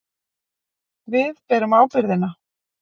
Við berum ábyrgðina.